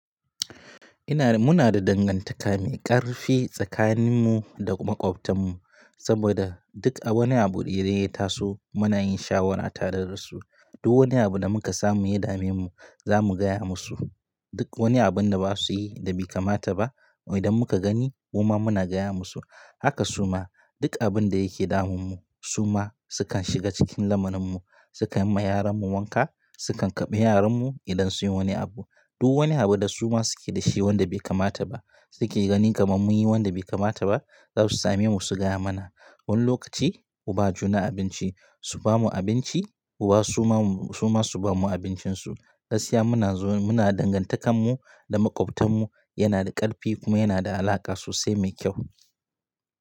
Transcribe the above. Ina, muna da dangantaka mai ƙarfi tsakaninmu da maƙwabtanmu saboda duk wani abu da ya taso muna yin shawara tare da su. Duk wani abu da muka samu ya dame mu zamu gaya musu. Duk wani abun da basu yi da bai kamata ba idan muka gani kuma muna gaya musu. Haka suma duk abin da yake damun su ma sukan shiga cikin lamuninmu, sukan yi ma yaranmu wanka, sukan karɓi yaranmu idan sun yi wani abu. Duk wani abu da su ma suke da shi wanda bai kamata ba suke gani kamar mun yi wanda bai kamata ba za su same mu su gaya mana. Wani lokaci uba juna abinci su bamu abinci muba suma suma su bamu abincinsu. Gaskiya muna zo muna dangantakanmu da makwabtanmu yana da ƙarfi kuma yana da alaƙa sosai mai kyau.